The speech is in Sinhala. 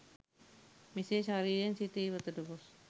මෙසේ ශරීරයෙන් සිත ඉවතට ගොස්